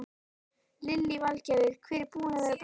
Lillý Valgerður: Hver er búinn að vera bestur?